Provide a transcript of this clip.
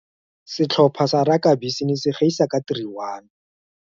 Setlhopha sa rakabii se ne se gaisa ka 3, 1.